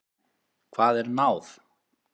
Hvað er náð?